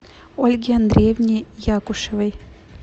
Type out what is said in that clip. ольге андреевне якушевой